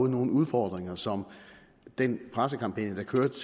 nogle udfordringer som den pressekampagne der kørte